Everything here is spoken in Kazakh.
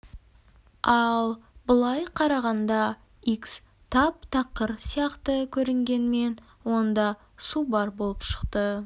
ал былай қарағанда икс тап-тақыр сияқты көрінгенмен онда су бар болып шықты